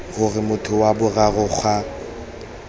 gore motho wa boraro ga